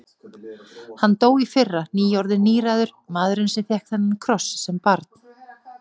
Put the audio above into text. Hann dó í fyrra, nýorðinn níræður, maðurinn sem fékk þennan kross sem barn.